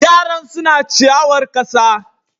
Yaran suna ciyawar ƙasa.